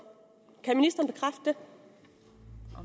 kan